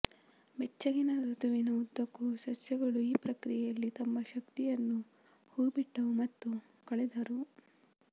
ಬೆಚ್ಚಗಿನ ಋತುವಿನ ಉದ್ದಕ್ಕೂ ಸಸ್ಯಗಳು ಈ ಪ್ರಕ್ರಿಯೆಯಲ್ಲಿ ತಮ್ಮ ಶಕ್ತಿಯನ್ನು ಹೂಬಿಟ್ಟವು ಮತ್ತು ಕಳೆದರು